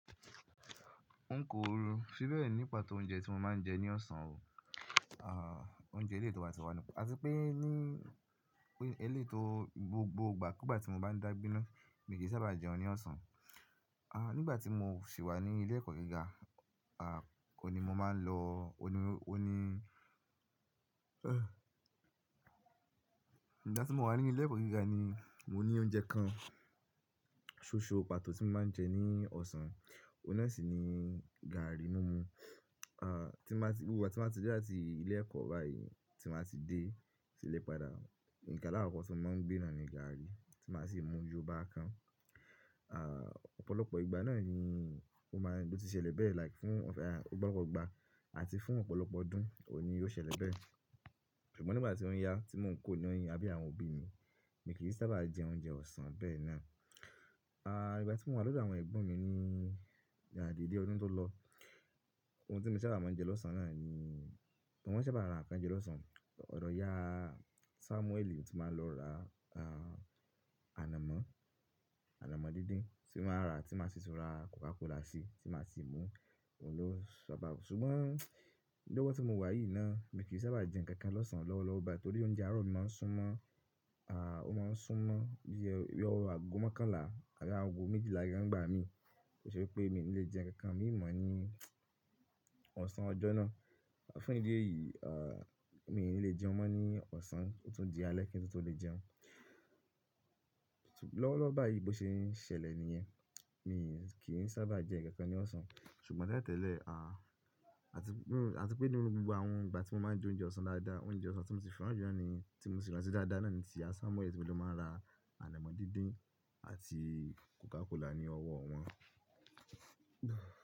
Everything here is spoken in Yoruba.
N kò rọ̀ síbẹ̀ nípa tó oúnjẹ tí mo máa ń jẹ ní ọ̀sán o. Ah oúnjẹ eléto wàtíwà nìkan. Àti pé ní eléto gbogbo ìgbà, kugbà tí mo bá ń dàgbená, mi kì í sábà jẹun ní ọ̀sán. Ah nígbà tí mò ń sì wà ní ilé ẹ̀kọ́ gíga, ah ó ni mo máa ń lọ, ọ ní, ọ ní-- nígbà tí mò ń wà ní ilé ẹ̀kọ́ gíga ni mo ní oúnjẹ kan ṣoṣo pàtó tí mo máa ń jẹ ní ọ̀sán, ọ̀nà sì ni gààrì mumu. Ah tí màá tí, gbogbo ìgbà tí màá ti dé láti ilé ẹ̀kọ́ báyìí, tí màá ti dé sí ilé padà, nǹkan alákoko tí wọ́n máa ń gbé nàá ni gààrì tí màá sì mú yóò báa kan. Ah ọ̀pọ̀lọpọ̀ ìgbà náà ni ó máa ń, bó ti ṣẹlẹ̀ bẹ́ẹ̀ like fún ah ọ̀pọ̀lọpọ̀ ìgbà àti fún ọ̀pọ̀lọpọ̀ ọdún, òní yóò ṣẹlẹ̀ bẹ́ẹ̀. Ṣùgbọ́n nígbà tí ó ń yá tí mò ń kó ní àbe àwọn òbí mi, mi kì í sábà jẹ oúnjẹ ọ̀sán bẹ́ẹ̀ náà. Ah nígbà tí mò ń wà lọ́dọ̀ àwọn ẹ̀gbọ́n mi ní Yàrá ìdílé ọdún tó lọ, ohun tí mo sábà máa ń jẹ lọ́sàn-án náà ni, wọn sábà ra nǹkan jẹ lọ́sán. Ọ̀dọ̀ ìyá Samueli tí màá lọ ra ah ànàmọ́, ànàmọ́ dídín tí màá rà tí màá sì tura Coca Cola sí, tí màá sì mú, òun ló sábà. Ṣùgbọ́n lọ́wọ́ tí mo wà yìí náà, mi kì í sábà jẹ nǹkan kan lọ́sán lọ́wọ́lọ́wọ́ báyìí torí oúnjẹ àárọ̀ mi máa ń sún mọ́. Ah ó máa ń sún mọ́ bí i ọ̀wọ̀ àgó mọ́kànlá àti àgó méjìlá nìkan ńgbà mi. Ó ṣe pé mi ò ní lè jẹ nǹkan kan mí mọ ní ọ̀sán ọjọ́ náà. Fún ìdí èyí, ah mi ò ní lè jẹun mọ́ ní ọ̀sán, ó tún di alẹ́ kí n tó lè jẹun. Lọ́wọ́lọ́wọ́ báyìí bó ṣe ń ṣẹlẹ̀ nìyẹn, mi kì í sábà jẹ nǹkan kan ní ọ̀sán. Ṣùgbọ́n lẹ́tẹ̀lẹ́ẹ̀, ah àti pé nínú gbogbo àwọn ìgbà tí mo máa ń jẹ oúnjẹ ọ̀sán dáadáa, oúnjẹ ọ̀sán tí mo sì fẹ́ràn jùlọ ni, tí mo sì rántí dáadáa náà ni ti àsa Samueli tí mo máa ń ra ànàmọ́ dídín àti Coca Cola ní ọwọ́ wọn.